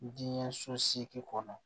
Diinɛ so seegin kɔnɔ